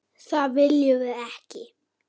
Það viljum við ekki.